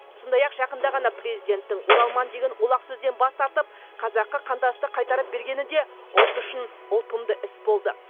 сондай ақ жақында ғана президенттің оралман деген олақ сөзден бас тартып қазақы қандасты қайтарып бергені де ұлт үшін ұтымды іс болды